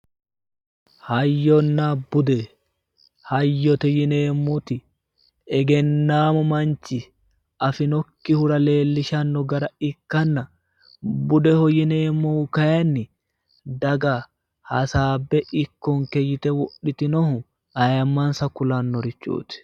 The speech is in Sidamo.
Hayyonna bude ,hayyote yinneemmoti egennamu manchi afi'nokkirura leellishanoha ikkanna ,bude yinneemmohu kayinni daga hasaabe ikkonke yte wodhitinoho ayimmansa kulanorichoti.